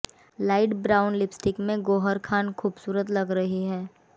light brown lipstick में गौहर खान खूबसूरत लग रही हैं